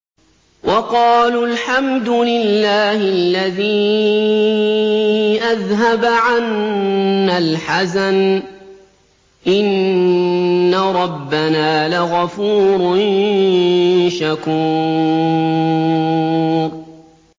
وَقَالُوا الْحَمْدُ لِلَّهِ الَّذِي أَذْهَبَ عَنَّا الْحَزَنَ ۖ إِنَّ رَبَّنَا لَغَفُورٌ شَكُورٌ